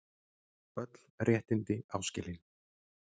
Öll réttindi áskilin